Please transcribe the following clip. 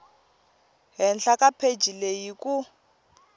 henhla ka pheji leyi ku